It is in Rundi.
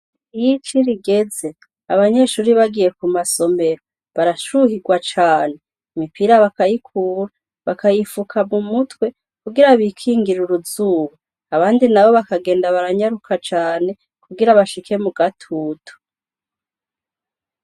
Iyo ici rigeze, abanyeshure bagiye ku masomero, barashuhirwa cane, imipira bakayikura, bakayifuka mu mutwe, kugira bikingire uruzuba; abandi nabo bakagenda baranyaruka cane kugira bashike mu gatutu.